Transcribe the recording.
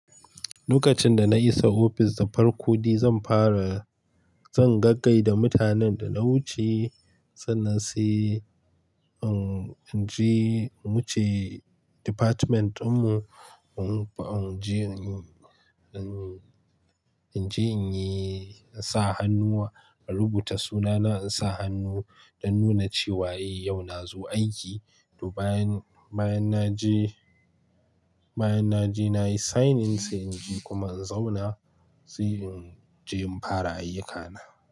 Lokacin da na isa ofis da farko dai zan fara, zan gaggai da mutanen da na wuce, sannan sai in je, in wuce department din mu, in je in yi, in je in yi, in sa hannu a rubuta sunana, in sa hannu dan nuna cewa eh yau na zo aiki. To bayan, bayan na je, bayan na je na yi sign in sai in je kuma in zauna, sai in je in fara ayyukana.